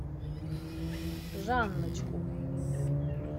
жанночку